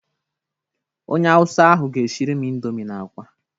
Onye awụsa ahụ ga-eshiri m ịndomi na akwa.